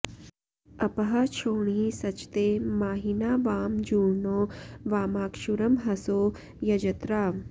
अ॒पः क्षो॒णी स॑चते॒ माहि॑ना वां जू॒र्णो वा॒मक्षु॒रंह॑सो यजत्रा